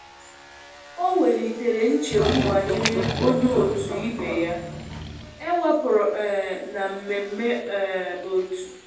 O welitere nchegbu banyere onye otu ibe ya e wepụru um na mmemme um otu.